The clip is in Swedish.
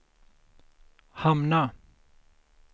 hamna